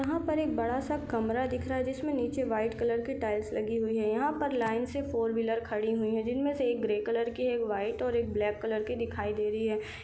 यहाँ पर एक बड़ा-सा कमरा दिख रहा है जिसमें नीचे वाइट कलर की टाइल्स लगी हुई है यहाँ पर लाइन से फोर व्हीलर खड़ी हुई है जिन में से एक ग्रे कलर की एक वाइट और एक ब्लैक कलर के दिखाई दे रही है।